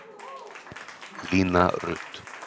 Lína Rut